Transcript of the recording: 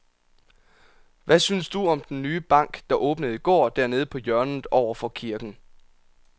Hvad synes du om den nye bank, der åbnede i går dernede på hjørnet over for kirken?